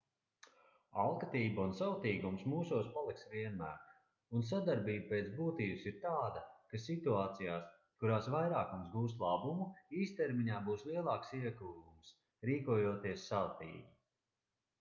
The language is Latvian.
alkatība un savtīgums mūsos paliks vienmēr un sadarbība pēc būtības ir tāda ka situācijās kurās vairākums gūst labumu īstermiņā būs lielāks ieguvums rīkojoties savtīgi